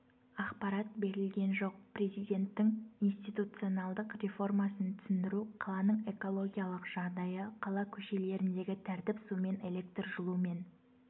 ақпарат берілген жоқ президенттің институционалдық реформасын түсіндіру қаланың экологиялық жағдайы қала көшелеріндегі тәртіп сумен электрмен жылумен